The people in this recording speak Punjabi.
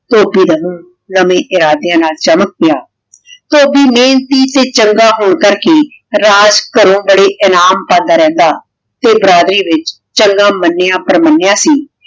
ਮੂੰਹ ਨਵੇਂ ਇਰਾਦਿਆਂ ਨਾਲ ਚਮਕ ਪਿਆ। ਧੋਬੀ ਨੇ ਚੰਗਾ ਹੋਂਦਾ ਕੀ ਰਾਜ ਘਰੋਂ ਬੜੇ ਇਨਾਮ ਪਾਂਦਾ ਰਹਿੰਦਾ ਤੇ ਬਰਾਦਰੀ ਵਿਚ ਚੰਗਾ ਮਨਿਯਾ ਸੀ